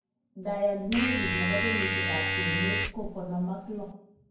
Diagnosis nebo kenyisiek ab kwenet ko konom ak loo